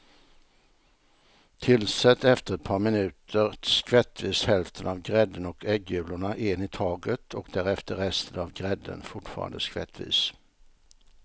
Tillsätt efter ett par minuter skvättvis hälften av grädden och äggulorna en i taget och därefter resten av grädden, fortfarande skvättvis.